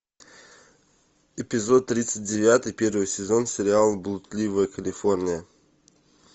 эпизод тридцать девятый первый сезон сериал блудливая калифорния